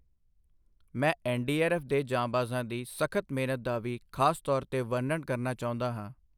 ਮੈਂ ਐੱਨਡੀਆਰਐੱਫ਼ ਦੇ ਜਾਂਬਾਜ਼ਾਂ ਦੀ ਸਖ਼ਤ ਮਿਹਨਤ ਦਾ ਵੀ ਖ਼ਾਸਤੌਰ ਤੇ ਵਰਨਣ ਕਰਨਾ ਚਾਹੁੰਦਾ ਹਾਂ।